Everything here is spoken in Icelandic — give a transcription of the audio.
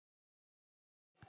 Hér er miðinn